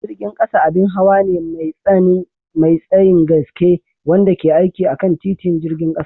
Jirgin ƙasa abin hawa ne mai tsayin gaske wanda ke aiki akan titin jirgin ƙasa.